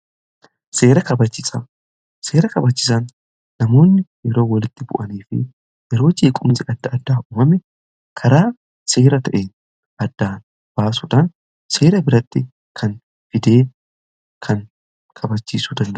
seera kabachiisaa, seera kabachisaan namoonni yeroo walitti bu'anii fi yeroo jeequmsi adda addaa uumame karaa seera ta'een addaa baasudhaan seera biratti kan fidee kan kabachiisuudha.